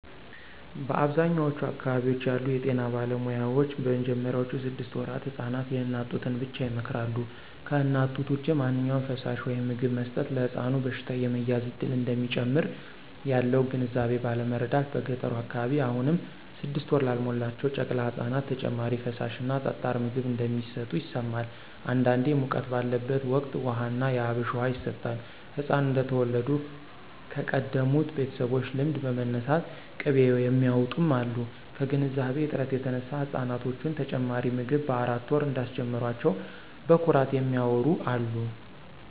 በአብዛኛዎቹ አካባቢዎች ያሉ የጤና ባለሙያዎች በመጀመሪያ ስድስት ወራት ህፃናት የእናት ጡትን ብቻ ይመክራሉ። ከእናት ጡት ውጭ ማንኛውም ፈሳሽ/ምግብ መስጠት ለሕፃኑ በሽታ የመያዝ እድልን እንደሚጨምር ያለው ግንዛቤ ባለማረዳት በገጠሩ አካባቢ አሁንም ስድስት ወር ላልሞላቸው ጨቅላ ህፃናት ተጨማሪ ፈሳሽ እና ጠጣር ምግብ እንደሚሰጡ ይሰማል። አንዳንዴ ሙቀት ባለበት ወቅት ውሃ ና የአብሽ ውሃ ይሰጣል፣ ህፃናት እንደተወለዱ ከቀደሙ ቤተሰቦች ልምድ በመነሳት ቅቤ የሚያውጡም አሉ። ከግንዛቤ እጥረት የተነሳ ህፃናቶችን ተጨማሪ ምግብ በአራት ወር እንዳስጀመሯቸው በኩራት የሚያዎሩ አሉ።